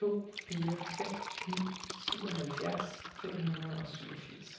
to fire fem ni syvoghalvfjerds fem hundrede og syvogfirs